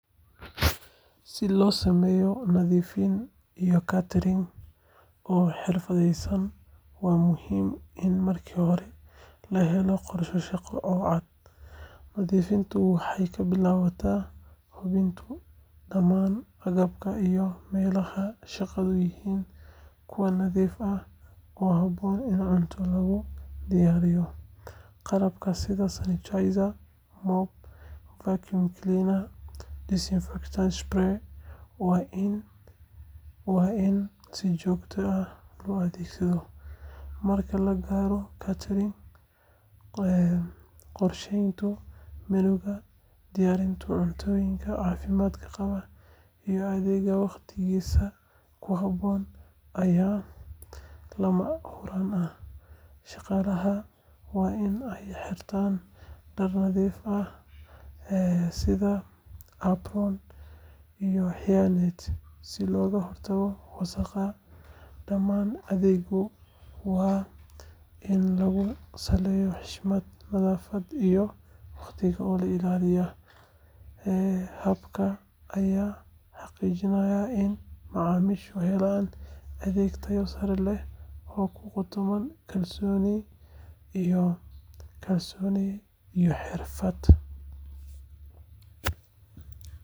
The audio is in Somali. Si loo sameeyo nadiifin iyo catering oo xirfadaysan, waxaa muhiim ah in marka hore la helo qorshe shaqo oo cad. Nadiifintu waxay ka bilaabataa hubinta in dhammaan agabka iyo meelaha shaqadu yihiin kuwa nadiif ah oo habboon in cunto lagu diyaariyo. Qalabka sida sanitizer, mop, vacuum cleaner, iyo disinfectant spray waa in si joogto ah loo adeegsadaa. Marka la gaaro catering, qorsheynta menu-ga, diyaarinta cuntooyinka caafimaadka qaba, iyo adeegga waqtigiisa ku habboon ayaa lama huraan ah. Shaqaalaha waa in ay xirtaan dhar nadiif ah sida apron iyo hairnet, si looga hortago wasakhda. Dhammaan adeegyada waa in lagu saleyaa xushmad, nadaafad, iyo waqtiga oo la ilaaliyo. Habkan ayaa xaqiijinaya in macaamiishu helaan adeeg tayo sare leh oo ku qotoma kalsooni iyo xirfad.